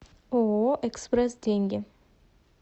ооо экспрессденьги